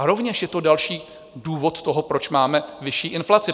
A rovněž je to další důvod toho, proč máme vyšší inflaci.